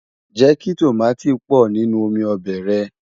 jékí tọ̀máti pò nínú omí óbè rè